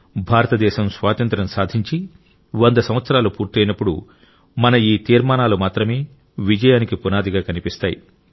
భారతదేశం స్వాతంత్య్రం సాధించి వంద సంవత్సరాలు పూర్తయినప్పుడు మన ఈ తీర్మానాలు మాత్రమే విజయానికి పునాదిగా కనిపిస్తాయి